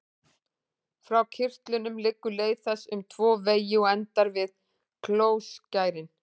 Frá kirtlunum liggur leið þess um tvo vegi og endar við klóskærin.